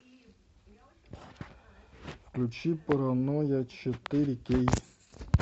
включи паранойя четыре кей